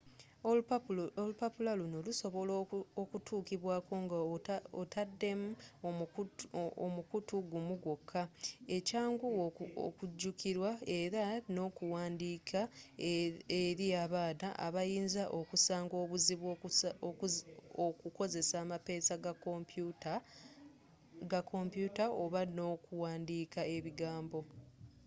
olupapula lunno lusobola okutuukibwaako nga otadem omukutu gumu gwoka ekyanguwa okujukirwa era n'okuwandiika eri abaana abayinza okusanga obuzibu okukozesa amapeesa ga kompuuta oba n'okuwandiika ebigambo